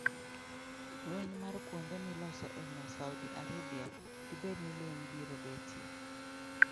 Lweny mar kuonde miloso e mo Saudi Arabia:Dibed ni lweny biro betie?